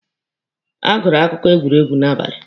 A gụrụ akụkọ egwuregwu n'abali.